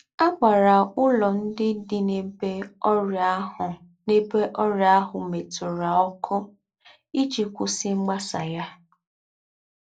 À gbárá úlọ́ ndí́ dí n’èbé ọ́rị́ā àhù n’èbé ọ́rị́ā àhù mètùrà ọ́kū́ íjī kwùsí mgbasà yá!